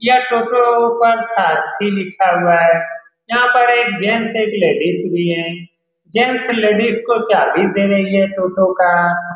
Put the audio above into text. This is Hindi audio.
यह टोटो ऊपर सारथी लिखा हुआ है यहाँ पर एक जेंट्स और लेडीज भी है जेंट्स लेडीज को चाभी दे रही है टोटो का।